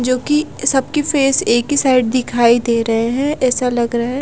जो कि सबके फेस एक ही साइड दिखाई दे रहे हैं ऐसा लग रहा है--